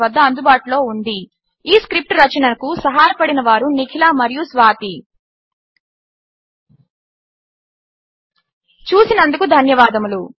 వద్ద అందుబాటులో ఉంది ఈ స్క్రిప్ట్ రచనకు సహాయపడినవారు నిఖిల మరియు స్వాతి చూసినందుకు ధన్యవాదములు